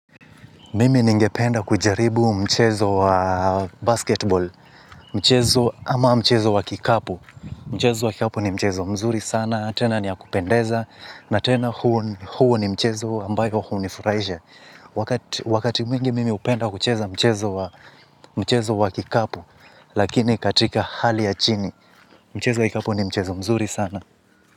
Mimi ninge penda kujaribu mchezo wa basketball, mchezo ama mchezo wa kikapu, mchezo wa kikapu ni mchezo mzuri sana, tena ni yakupendeza, na tena huo ni mchezo ambayo kuhunifurahisha, wakati mwingi mimi hupenda kucheza mchezo wa kikapu, lakini katika hali ya chini, mchezo wa kikapu ni mchezo mzuri sana.